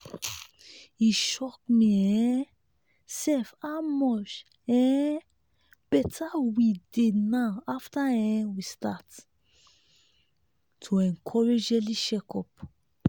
e shock me um sef how much um better we dey now after um we start to encourage early check up.